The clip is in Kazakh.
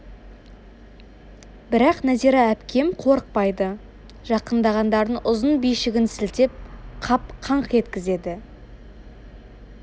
бірақ нәзира әпкем қорықпайды жақындағандарын ұзын бишігін сілтеп қап қаңқ еткізеді